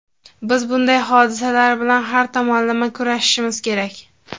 biz bunday hodisalar bilan har tomonlama kurashishimiz kerak.